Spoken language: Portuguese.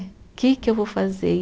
Que que eu vou fazer? E